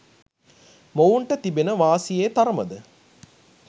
මොවුන්ට තිබෙන වාසියේ තරමද